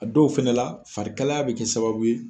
A dɔw fɛnɛ la farikalaya bɛ kɛ sababu ye.